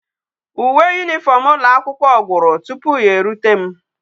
Uwe uniform ulo akwukwo gwuru tupu ya e rute m